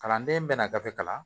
Kalanden bɛ na gafe kalan